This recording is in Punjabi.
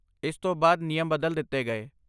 ਇਸ ਤੋਂ ਬਾਅਦ ਨਿਯਮ ਬਦਲ ਦਿੱਤੇ ਗਏ।